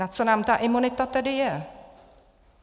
Na co nám ta imunita tedy je?